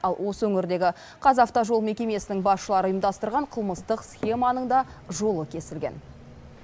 ал осы өңірдегі қазавтожол мекемесінің басшылары ұйымдастырған қылмыстық схеманың да жолы кесілген